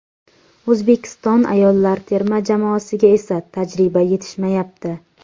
O‘zbekiston ayollar terma jamoasiga esa tajriba yetishmayapti.